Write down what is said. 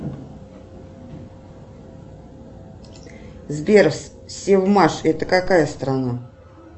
сбер севмаш это какая страна